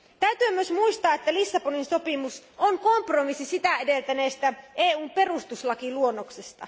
Täytyy myös muistaa, että Lissabonin sopimus on kompromissi sitä edeltäneestä EUn perustuslakiluonnoksesta.